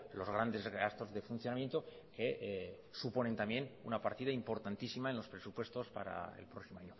los grandes gastos de funcionamiento que suponen una partida importantísima en los presupuestos para el próximo